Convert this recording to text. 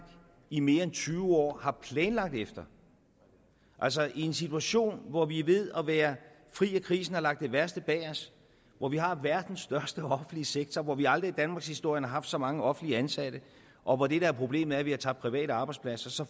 i mere end tyve år har planlagt efter altså i en situation hvor vi er ved at være fri af krisen og har lagt det værste bag os hvor vi har verdens største offentlige sektor hvor vi aldrig i danmarkshistorien har haft så mange offentligt ansatte og hvor det der er problemet er at vi har tabt private arbejdspladser så